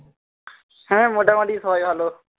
হ্যাঁ মোটামুটি সবাই ভালো